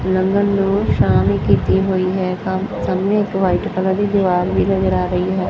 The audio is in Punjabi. ਲੰਘਣ ਨੂੰ ਸ਼ਾਮ ਹੀ ਕੀਤੀ ਹੋਈ ਹੈ ਤੇ ਸਾਹਮਣੇ ਇੱਕ ਵਾਈਟ ਕਲਰ ਦੀ ਦੀਵਾਰ ਵੀ ਨਜ਼ਰ ਆ ਰਹੀ ਹੈ।